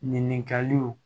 Ɲininkaliw